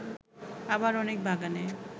আবার অনেক বাগানে